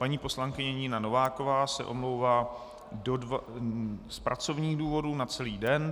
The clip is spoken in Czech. Paní poslankyně Nina Nováková se omlouvá z pracovních důvodů na celý den.